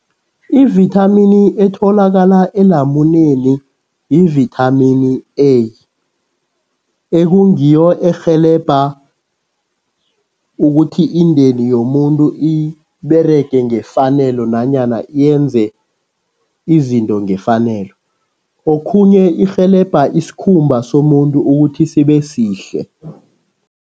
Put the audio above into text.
Ivithamini etholakala elamuneni yivithamini A, ekungiyo erhelebha ukuthi indeni yomuntu iberege ngefanelo nanyana yenze izinto ngefanelo. Okhunye irhelebha isikhumba somuntu ukuthi sibe sihle.